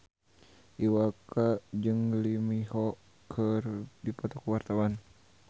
Iwa K jeung Lee Min Ho keur dipoto ku wartawan